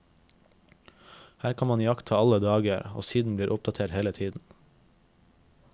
Her kan man iaktta alle dager, og siden blir oppdatert hele tiden.